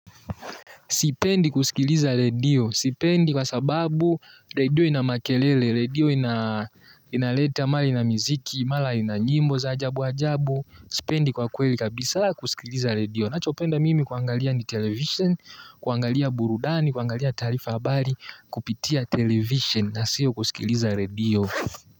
Sipendi kusikiliza redio. Sipendi kwa sababu redio ina makelele, redio inaleta, mara ina miziki, mara ina nyimbo za ajabu ajabu. Sipendi kwa kweli kabisa kusikiliza redio. Nachopenda mimi kuangalia ni television, kuangalia burudani, kuangalia taarifa habari, kupitia television na siyo kusikiliza redio.